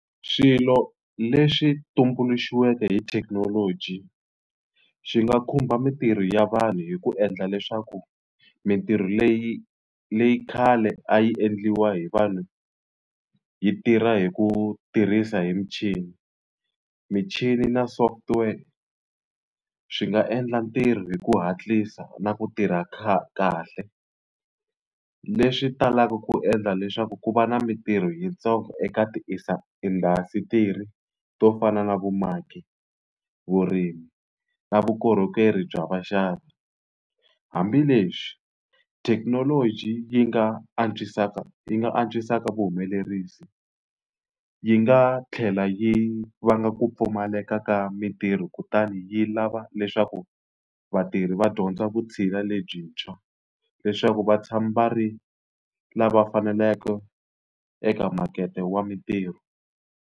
Swilo leswi tumbuluxiweke hi thekinoloji xi nga khumba mintirho ya vanhu hi ku endla leswaku mintirho leyi leyi khale a yi endliwa hi vanhu yi tirha hi ku tirhisa hi michini. Michini na software swi nga endla ntirho hi ku hatlisa na ku tirha kahle, leswi talaka ku endla leswaku ku va na mintirho yintsongo eka tiindhasitiri to fana na vumaki, vurimi, na vukorhokeri bya vaxavi. Hambileswi thekinoloji yi nga antswisaka yi nga antswisaka vuhumelerisi, yi nga tlhela yi vanga ku pfumaleka ka mintirho kutani yi lava leswaku vatirhi va dyondza vutshila lebyintshwa, leswaku vatshami va ri lava faneleke eka makete wa mintirho.